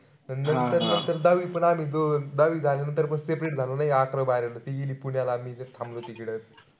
नंतर-नंतर दहावी पण आम्ही दोन दहावी झाल्यानंतर पण separate झालो ना या अकरावी. ती गेली पुण्याला मी इथेच थांबलो इकडं.